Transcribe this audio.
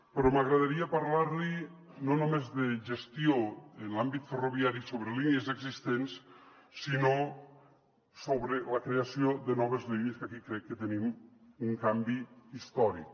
però m’agradaria parlar li no només de gestió en l’àmbit ferroviari sobre línies existents sinó sobre la creació de noves línies que aquí crec que tenim un canvi històric